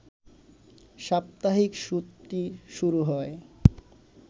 সাপ্তাহিক ছুটি শুরু হয়